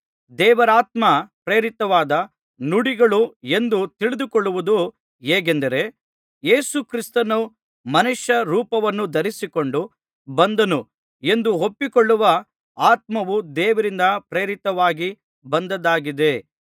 ದೇವರಾತ್ಮ ಪ್ರೇರಿತವಾದ ನುಡಿಗಳು ಎಂದು ತಿಳಿದುಕೊಳ್ಳುವುದು ಹೇಗೆಂದರೆ ಯೇಸು ಕ್ರಿಸ್ತನು ಮನುಷ್ಯ ರೂಪವನ್ನು ಧರಿಸಿಕೊಂಡು ಬಂದನು ಎಂದು ಒಪ್ಪಿಕೊಳ್ಳುವ ಆತ್ಮವು ದೇವರಿಂದ ಪ್ರೇರಿತವಾಗಿ ಬಂದದ್ದಾಗಿದೆ